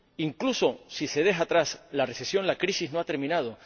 Incluso si se deja atrás la recesión, la crisis no ha terminado.